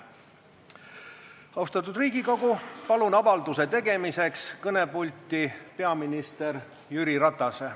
Austatud Riigikogu, palun avalduse tegemiseks kõnepulti peaminister Jüri Ratase.